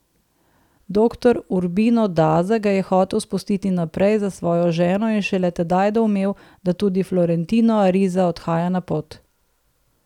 Doktor Urbino Daza ga je hotel spustiti naprej za svojo ženo in šele tedaj doumel, da tudi Florentino Ariza odhaja na pot.